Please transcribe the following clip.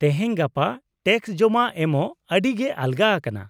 -ᱛᱮᱦᱮᱧ ᱜᱟᱯᱟ ᱴᱮᱠᱥ ᱡᱚᱢᱟ ᱮᱢᱚᱜ ᱟᱹᱰᱤᱜᱮ ᱟᱞᱜᱟ ᱟᱠᱟᱱᱟ ᱾